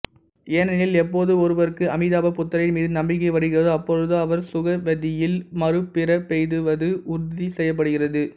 ஏனெனில் எப்போது ஒருவருக்கு அமிதாப புத்தரின் மீது நம்பிக்கை வருகிறதோ அப்பொழுதே அவர் சுகவதியில் மறுபிறப்பெய்துவது உறுதி செய்யப்படுகிறது